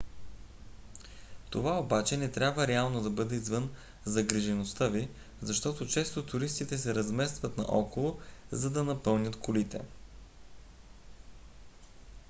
това обаче не трябва реално да бъде извън загрижеността ви защото често туристите се разместват наоколо за да напълнят колите